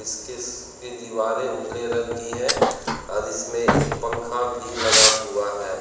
दीवारें उजले रंग की हैं और इसमें एक पंखा भी लगा हुआ है।